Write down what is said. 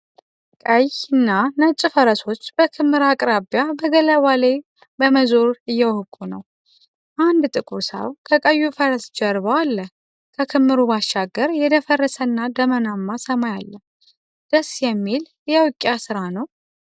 ቀይና ነጭ ፈረሶች በክምር አቅራቢያ በገላባ ላይ በመዞር እየወቁ ነው። አንድ ጥቁር ሰው ከቀዩ ፈረስ ጀርባ አለ። ከክምርሩ ባሻገር የደፈረሰና ደመናማ ሰማይ አለ። ደስ የሚል የውቂያ ስራ ነው።